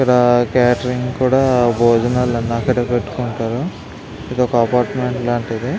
ఇక్కడ కాటేరింగ్ కూడా భోజనాలు అన్ని అక్కడే పెట్టుకుంటారు. ఇదొక అపార్ట్మెంట్ లాంటిది.